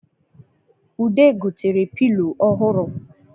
Ude gotere pilo ọhụrụ